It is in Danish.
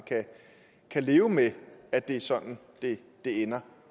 kan leve med at det er sådan det ender